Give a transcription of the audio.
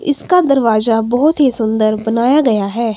इसका दरवाजा बहुत ही सुंदर बनाया गया है।